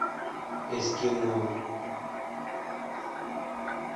эскимо